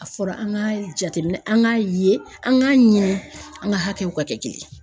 A fɔra an k'a jate minɛn an k'a ye an k'a ɲini an ka hakɛw ka kɛ kelen ye.